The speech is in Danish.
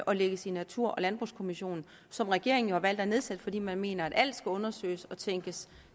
og lægges i natur og landbrugskommissionen som regeringen jo har valgt at nedsætte fordi man mener at alt skal undersøges og tænkes